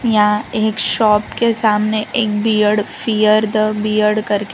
यहां एक शॉप के सामने एक बीयर्ड फियर द बीयर्ड करके--